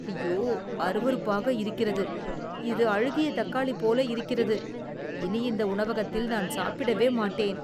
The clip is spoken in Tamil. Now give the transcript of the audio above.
அய்யோ...! அருவருப்பாக இருக்கிறது! இது அழுகிய தக்காளி போல இருக்கிறது, இனி இந்த உணவகத்தில் நான் சாப்பிடவே மாட்டேன்.